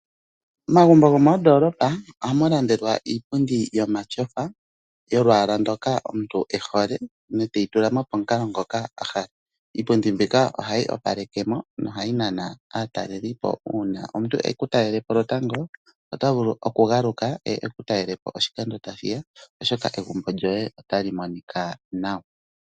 Omagumbo gomoodoolopa ohamu landelwa iipundi omatyofa yolwaala ndoka omuntu e hole e te yi tula mo pomukalo ngoka a hala. Iipundi mbika ohayi opaleka mo nohayi nana aatalelipo. Uuna omuntu e ku talele po lwotango, ota vulu okugaluka eye e ku talele po oshikando tashi ya, shoka egumbo lyoye otali monika nawa.